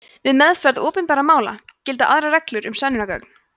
við meðferð opinbera mála gilda aðrar reglur um sönnunargögn